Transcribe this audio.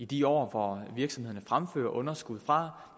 de år virksomhederne fremfører underskud fra